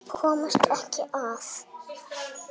Komast ekki að.